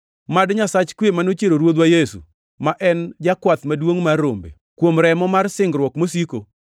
Mad Nyasach kwe ma nochiero Ruodhwa Yesu, ma en Jakwath Maduongʼ mar rombe, kuom remo mar singruok mosiko,